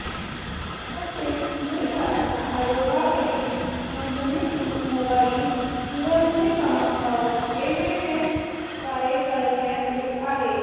तसेच उमेदवारांना आयोगाकडील नोंदणीकृत मोबाईल दुरध्वनी क्रमांकावर एसएमएसद्वारे कळविण्यात येत आहे